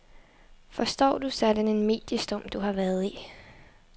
Forstår du sådan en mediestorm du har været i?